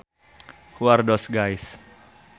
Who are those guys